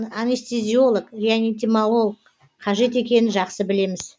анестезиолог реанимотолог қажет екенін жақсы білеміз